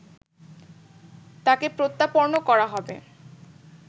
তাকে প্রত্যাপর্ন করা হবে